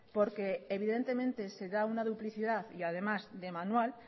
porque evidentemente se da una duplicidad y además de manual